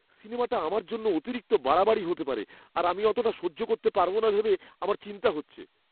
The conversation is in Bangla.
সিনেমাটা আমার জন্য অতিরিক্ত বাড়াবাড়ি হতে পারে আর আমি অতটা সহ্য করতে পারবো না ভেবে আমার চিন্তা হচ্ছে।